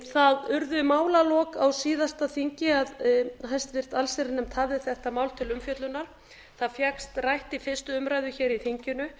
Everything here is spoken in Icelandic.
það urðu málalok á síðasta þingi að háttvirta allsherjarnefnd hafði þetta mál til umfjöllunar það fékkst rætt í fyrstu umræðu hér í þinginu